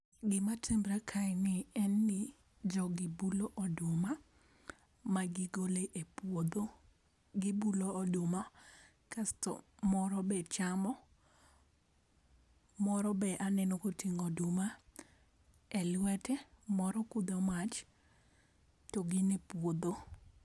Gima timre kaeni en ni, jogi bulo oduma, ma gigole e puodho, gibulo oduma kasto moro be chamo, moro be aneno koting'o oduma e lwete, moro kudho mach, to gin e puodho.